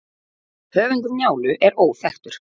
höfundur njálu er óþekktur